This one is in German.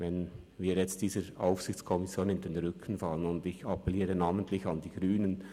Wenn wir jetzt dieser Aufsichtskommission in den Rücken fallen, und ich appelliere namentlich an die Grünen: